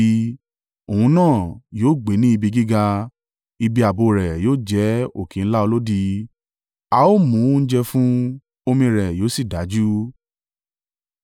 Òun náà yóò gbé ní ibi gíga, ibi ààbò rẹ̀ yóò jẹ́ òkè ńlá olódi. A ó mú oúnjẹ fún un, omi rẹ̀ yóò sì dájú.